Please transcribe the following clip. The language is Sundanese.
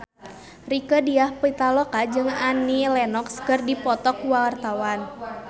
Rieke Diah Pitaloka jeung Annie Lenox keur dipoto ku wartawan